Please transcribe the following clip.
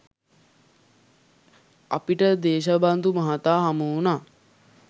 අපිටදේශබන්දු මහතා හමුවුණා